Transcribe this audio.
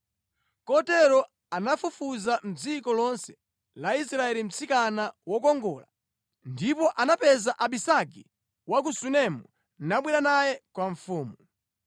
Kotero anafunafuna mʼdziko lonse la Israeli mtsikana wokongola ndipo anapeza Abisagi wa ku Sunemu, nabwera naye kwa mfumu.